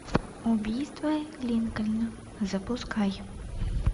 убийство линкольна запускай